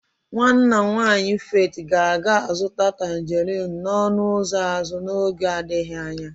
Nwanna nwanyị Faith ga-aga azụta tangerin n'ọnụ ụzọ azụ n'oge adịghị anya.